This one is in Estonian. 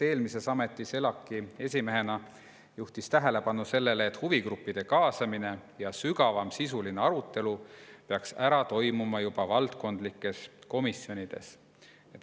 Eelmises ametis ELAK-i esimehena juhtis ta tähelepanu sellele, et huvigruppide kaasamine ja sügavam sisuline arutelu peaks ära toimuma juba valdkondlikes komisjonides.